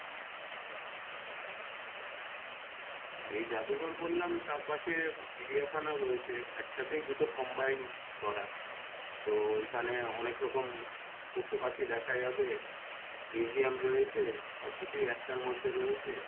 যে জাদুঘর বললাম তার পাশে চিড়িয়াখানা রয়েছে এক সাথেই দুটো combined করা তো ওইখানে অনেক রকম পশু পাখি দেখা যাবে museum রয়েছে সব কিছুই একটার মধ্যে রয়েছে,